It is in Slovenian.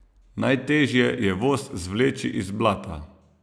Najtežje je voz zvleči iz blata.